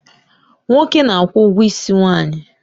Nwoke n' akwụ ụgwọ isi nwanyị